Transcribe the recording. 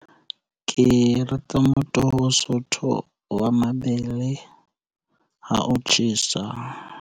Ke rata motoho o sootho wa mabele ha o tjhesa.